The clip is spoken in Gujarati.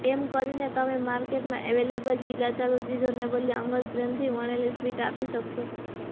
એમ કરીને તમે માર્કેટમાં અવેલેબલ ચીલાચાલુ ચીજોને બદલે અંગત પ્રેમથી વણેલી સ્વીટ આપી શકશો